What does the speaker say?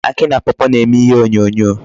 Akị na pawpaw na-eme ihe onyonyo.